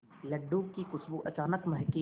लड्डू की खुशबू अचानक महके